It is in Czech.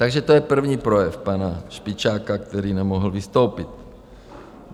Takže to je první projev pana Špičáka, který nemohl vystoupit.